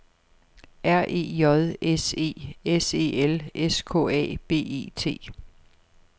R E J S E S E L S K A B E T